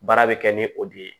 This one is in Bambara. Baara bɛ kɛ ni o de ye